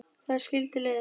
Þar skildi leiðir.